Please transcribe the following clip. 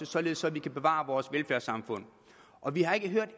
således at vi kan bevare vores velfærdssamfund og vi har ikke hørt